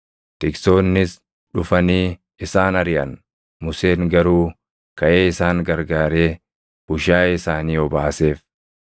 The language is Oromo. Tiksoonnis dhufanii isaan ariʼan; Museen garuu kaʼee isaan gargaaree bushaayee isaanii obaaseef.